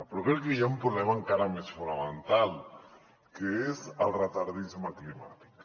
però crec que hi ha un problema encara més fonamental que és el retardisme climàtic